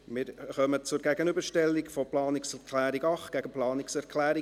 Wir kommen zur Gegenüberstellung der Planungserklärungen 8 und 11.